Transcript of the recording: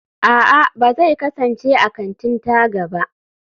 a'a, ba zai kasance a kantin-taga ba